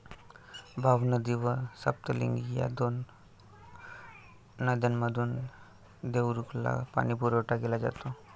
भावनदी व सप्तलिंगी या दोन नद्यांमधून देवरुखला पाणीपुरवठा केला जातो.